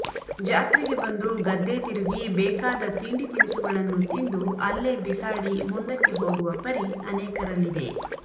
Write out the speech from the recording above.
ಜಾತ್ರೆಗೆ ಬಂದು ಗದ್ದೆ ತಿರುಗಿ ಬೇಕಾದ ತಿಂಡಿ ತಿನಸುಗಳನ್ನು ತಿಂದು ಅಲ್ಲೇ ಬಿಸಾಡಿ ಮುಂದಕ್ಕೆ ಹೋಗುವ ಪರಿ ಅನೇಕರಲ್ಲಿದೆ